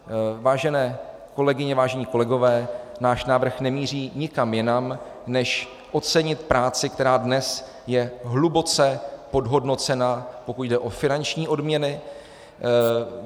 Vážené kolegyně, vážení kolegové, náš návrh nemíří nikam jinam než ocenit práci, která dnes je hluboce podhodnocena, pokud jde o finanční odměny.